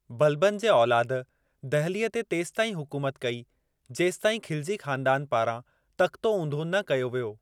बलबन जे औलाद दहिलीअ ते तेसिताईं हुकूमत कई जेसिताईं खिलजी ख़ानदानु पारां तख़्तो ऊंधो न कयो वियो।